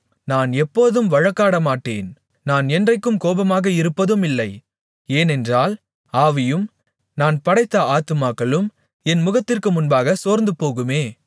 நான் எப்போதும் வழக்காடமாட்டேன் நான் என்றைக்கும் கோபமாக இருப்பதுமில்லை ஏனென்றால் ஆவியும் நான் படைத்த ஆத்துமாக்களும் என் முகத்திற்கு முன்பாகச் சோர்ந்துபோகுமே